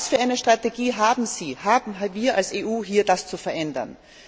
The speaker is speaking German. Was für eine Strategie haben Sie, haben wir als EU, um das zu verändern?